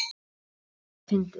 Það var líka fyndið.